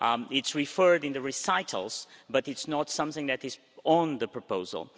It's referred in the recitals, but it's not something that is in the proposal.